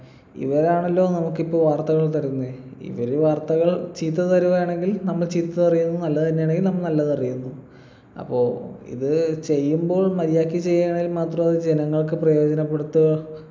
ഇവരാണല്ലോ നമുക്കിപ്പൊ വാർത്തകൾ തരുന്നേ ഇവര് വാര്‍ത്തകള്‍ ചീത്ത തരുവയാണെങ്കിൽ നമ്മൾ ചീത്ത അറിയുന്നു നല്ലത് തന്നെയാണെങ്കിൽ നമ്മൾ നല്ലതറിയുന്നു അപ്പൊ ഇത് ചെയ്യുമ്പോഴും മര്യാദയ്ക്ക് ചെയ്യാണെങ്കിൽ മാത്രം അത് ജനങ്ങൾക്ക് പ്രയോജനപ്പെടുതുത്തൊ